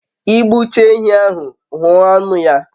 I gbu chaa ehi ahu, huo anu ya